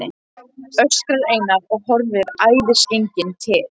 öskrar Einar og horfir æðisgenginn til